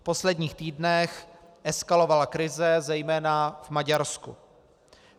V posledních týdnech eskalovala krize zejména v Maďarsku.